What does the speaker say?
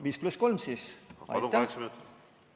5 + 3 minutit siis.